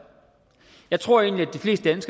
jeg tror egentlig